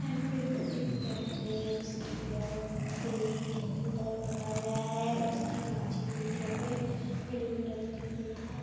यहां पे एक बिल्डिंग दिखाई दे रही है जिसकी दीवारो पे क्रीम कलर पुता हुआ है उसकी कांच की खिड़कियों पे ब्लू कलर दिखाई दे रहा है।